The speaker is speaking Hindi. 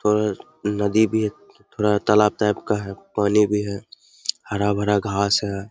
थोड़ा नदी भी है थोड़ा तालाब टाइप का है पानी भी है हरा-भरा घास है।